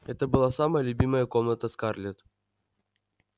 это была самая любимая комната скарлетт